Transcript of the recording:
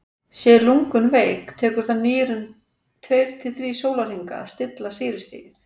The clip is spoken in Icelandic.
séu lungun veik tekur það nýrun tveir til þrír sólarhringa að stilla sýrustigið